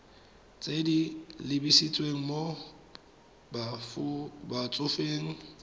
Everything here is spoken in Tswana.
tse di lebisitseng mo batsofeng